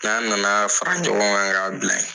N'an na na a fara ɲɔgɔn kan k'a bila ye.